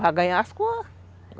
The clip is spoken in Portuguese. Para ganhar as coisas.